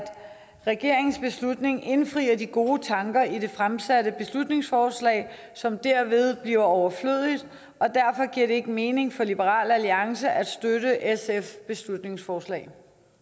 regeringens beslutning indfrier de gode tanker i det fremsatte beslutningsforslag som derved bliver overflødigt og derfor giver det ikke mening for liberal alliance at støtte sfs beslutningsforslag